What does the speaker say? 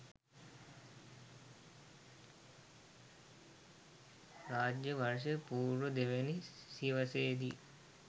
රාජ්‍ය වර්ෂ පූර්ව දෙවැනි සියවසේ දී